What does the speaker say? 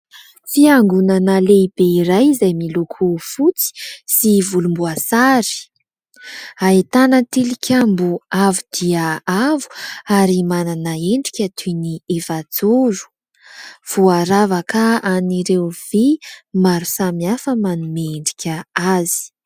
Fiangonana lehibe iray izay miloko fotsy sy volomboasary. Ahitana tilikambo avo dia avo ary manana endrika toy ny efajoro. Voaravaka an'ireo vy maro samihafa manome endrika azy.